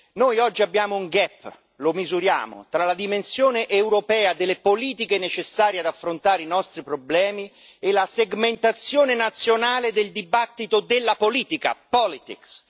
Noi oggi abbiamo un gap lo misuriamo, tra la dimensione europea delle politiche necessarie ad affrontare i nostri problemi e la segmentazione nazionale del dibattito della politica, politics